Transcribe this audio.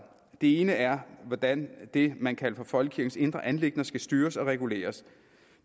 det ene er hvordan det man kalder for folkekirkens indre anliggender skal styres og reguleres